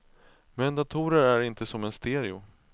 Men datorer är inte som en stereo.